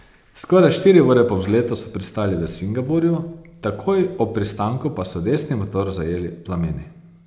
Skoraj štiri ure po vzletu so pristali v Singapurju, takoj ob pristanku pa so desni motor zajeli plameni.